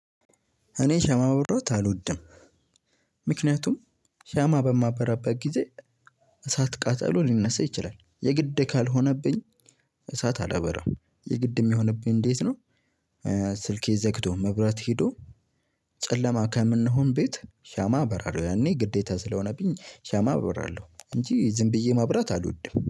እኔ ሻማ ማብራት አልወድም። ምክንያቱም ሻማ በማበራበት ጊዜ እሳት ቃጠሎ ሊነሳ ይችላል። የግድ ካልሆነብኝ እሳት አላበራም የግድ እሚሆንብኝ እንዴት ነው? ስልኬ ዘግቶ መብራት ሄዶ። ጨለማ ከምንሆን ቤት ሻማ አበራለሁ ያኔ ግዴታ ስለሆነብኝ ሻማ አበራለሁ። እንጂ ዝም ብዬ ማብራት አልወድም